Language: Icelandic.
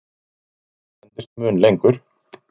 Mynt endist mun lengur.